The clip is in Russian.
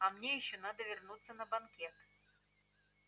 а мне ещё надо вернуться на банкет